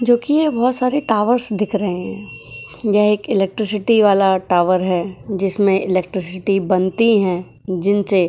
जोकि ये बहुत सारे टॉवर्स दिख रहे हैं यह एक इलेक्ट्रिसिटी वाला टावर है जिसमें इलेक्ट्रिसिटी बनती है जिनसे --